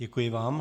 Děkuji vám.